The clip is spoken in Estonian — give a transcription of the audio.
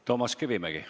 Toomas Kivimägi.